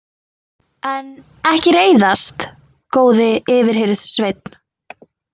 En ekki reiðast, góði yfirhirðsveinn.